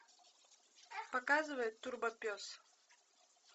показывай турбо пес